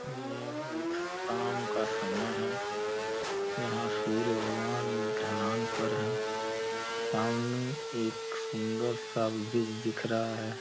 यह एक शाम का समय है। यहाँ सूर्य भगवान ढलान पर है। सामने एक सुंदर-सा ब्रिज दिख रहा है।